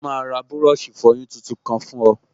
Ó máa ra búrọ̀ṣì ìfọyín tuntun kan fún ọ